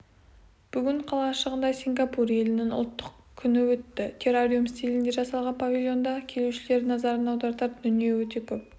бүгін қалашығында сингапур елінің ұлттық күні өтті террариум стилінде жасалған павильонда келушілер назарын аудартар дүние көп